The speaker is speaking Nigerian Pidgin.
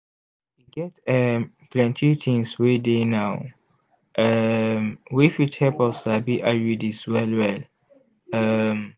e get um plenty things wey dey now um wey fit help us sabi iuds well well. um